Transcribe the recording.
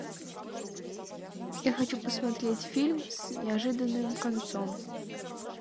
я хочу посмотреть фильм с неожиданным концом